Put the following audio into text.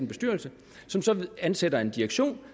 bestyrelse som så ansætter en direktion